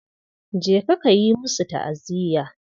Je ka yi musu ta'aziya.